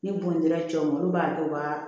Ni bon dara cɛw olu b'a kɛ u ka